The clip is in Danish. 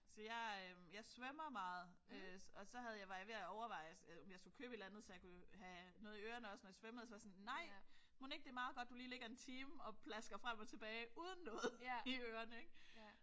Så jeg øh jeg svømmer meget og så havde så var jeg ved at overveje om jeg skulle købe et eller andet så jeg kunne have noget i ørerne også når jeg svømmede men så var jeg sådan nej mon ikke det er meget godt at du ligger en time og plasker frem og tilbage uden noget i ørerne ik